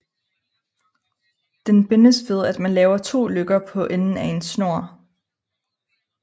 Den bindes ved at man laver to løkker på enden af en snor